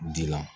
Dila